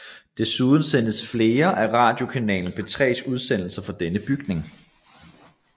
Desuden sendes flere af radiokanalen P3s udsendelser fra denne bygning